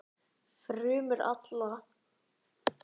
Frumur allra heilkjörnunga skipta sér þannig.